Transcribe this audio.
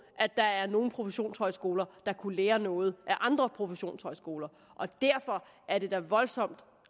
at der er nogle professionshøjskoler der kunne lære noget af andre professionshøjskoler og derfor er det da voldsomt